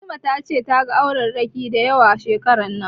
Fatima ta ce ta ga aurerraki dayawa shekaran nan